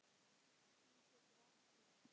Stig getur átt við